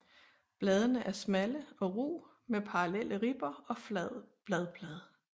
Bladene er smalle og ru med parallelle ribber og flad bladplade